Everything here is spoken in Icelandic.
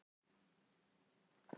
Auk þess var Siggi eitt ár hjá Fjölni.